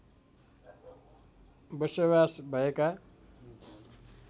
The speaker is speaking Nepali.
बसोबास भएका